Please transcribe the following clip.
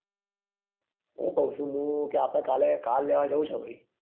શું કહું છું હું કે આપડે કાલે કાર લેવા જવું છે ભાઈ